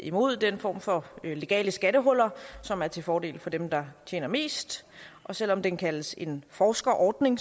imod den form for legale skattehuller som er til fordel for dem der tjener mest selv om den kaldes en forskerordning